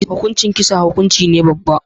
Hukuncin kisa hukunci ne babba.